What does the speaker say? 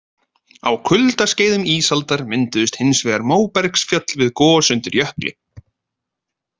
Á kuldaskeiðum ísaldar mynduðustu hins vegar móbergsfjöll við gos undir jökli.